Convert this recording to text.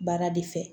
Baara de fɛ